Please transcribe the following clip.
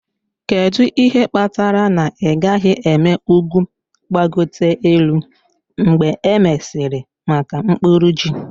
Kedu ihe kpatara na ị gaghị eme ugwu gbagote elu mgbe e mesịrị maka mkpuru ji?.